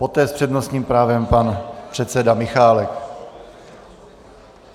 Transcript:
Poté s přednostním právem pan předseda Michálek.